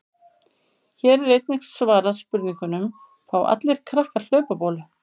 Hér er einnig svarað spurningunum: Fá allir krakkar hlaupabólu?